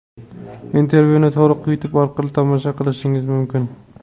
Intervyuni to‘liq Youtube orqali tomosha qilishingiz mumkin.